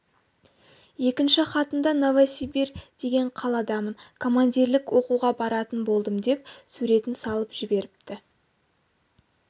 екінші хатында новосибирь деген қаладамын командирлік оқуға баратын болдым деп суретін салып жіберіпті